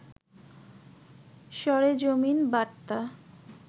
সরেজমিন বার্তা